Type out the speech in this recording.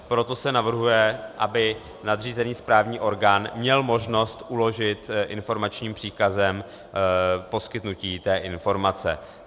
Proto se navrhuje, aby nadřízený správní orgán měl možnost uložit informačním příkazem poskytnutí té informace.